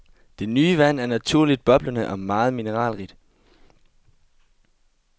Det nye vand er naturligt boblende og meget mineralrigt.